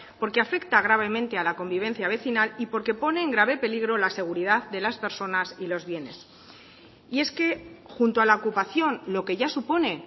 porque afecta gravemente a la convivencia vecinal y porque pone en grave peligro la seguridad de las personas y los bienes y es que junto a la ocupación lo que ya supone